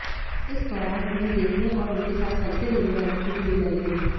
इस दौरान उन्हें देखने और उनके साथ सेल्फी लेने वालों की भीड़ लगी रही